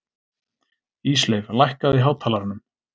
Ísleif, lækkaðu í hátalaranum.